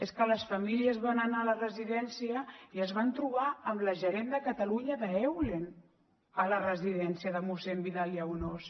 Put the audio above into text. és que les famílies van anar a la residència i es van trobar amb la gerent de catalunya d’eulen a la residència de mossèn vidal i aunós